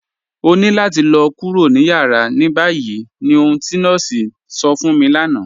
Ọ̀ ní làtì lọ̀ kúrò ní yàrá ní báyì ní ọ̀hun ti nọọ̀sí sọ̀ fún mi lánà.